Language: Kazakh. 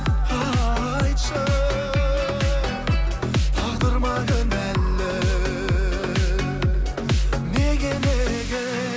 айтшы тағдыр ма кінәлі неге неге